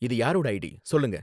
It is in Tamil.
இது யாரோட ஐடி? சொல்லுங்க